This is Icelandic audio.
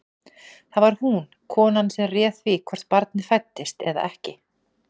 Það var hún, konan, sem réð því hvort barnið fæddist eða ekki.